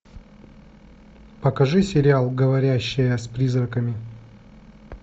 покажи сериал говорящая с призраками